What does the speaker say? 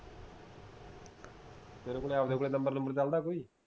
ਤੇਰੇ ਕੋਲ ਆਵਦਾ ਕੋਈ ਨੰਬਰ ਨੂੰਬਰ ਚਲਦਾ ਕੋਈ